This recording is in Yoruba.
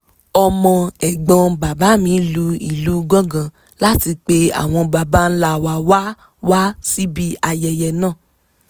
ọmọ ẹ̀gbọ́n bàbá mi lu ìlù gángan láti pe àwọn baba ńlá wa wá síbi ayẹyẹ náà